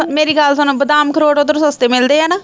ਮੇਰੀ ਗੱਲ ਸੁਣੋ ਬਾਦਾਮ ਅਖਰੋਟ ਉੱਧਰ ਸਸਤੇ ਮਿਲਦੇ ਆ ਨਾ